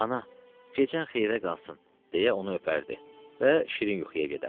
Ana, gecən xeyrə qalsın, deyə onu öpərdi və şirin yuxuya gedərdi.